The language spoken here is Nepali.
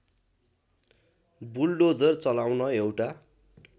बुल्डोजर चलाउन एउटा